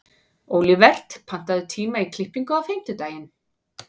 Olivert, pantaðu tíma í klippingu á fimmtudaginn.